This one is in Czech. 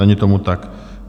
Není tomu tak.